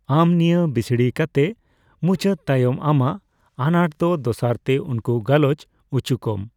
ᱟᱢ ᱱᱤᱭᱟᱹ ᱵᱤᱥᱲᱤ ᱠᱟᱛᱮᱜ ᱢᱩᱪᱟᱹᱫ ᱛᱟᱭᱚᱢ ᱟᱢᱟᱜ ᱟᱱᱟᱴ ᱫᱚ ᱫᱚᱥᱟᱨᱛᱮ ᱩᱱᱠᱩ ᱜᱟᱞᱚᱪ ᱩᱪᱩ ᱠᱚᱢ᱾